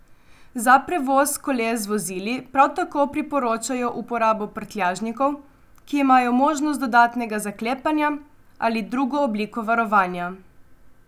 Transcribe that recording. Za prevoz koles z vozili prav tako priporočajo uporabo prtljažnikov, ki imajo možnost dodatnega zaklepanja ali drugo obliko varovanja.